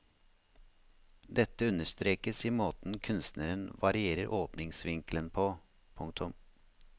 Dette understrekes i måten kunstneren varierer åpningsvinkelen på. punktum